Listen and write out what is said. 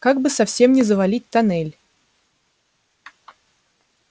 как бы совсем не завалить тоннель